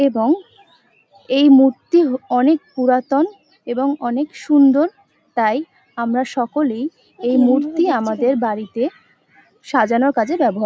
এবং এই মূর্তি অনেক পুরাতন এবং অনেক সুন্দর তাই আমরা সকলেই এই মূর্তি আমাদের বাড়িতে সাজানোর কাজে ব্যাবহার--